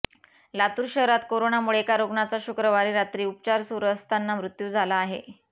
लातूर शहरात कोरोनामुळे एका रुग्णाचा शुक्रवारी रात्री उपचार सुरु असताना मृत्यू झाला आहे